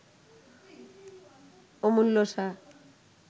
Amulya Shah